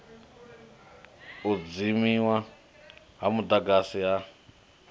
u dzimiwa ha mudagasi ha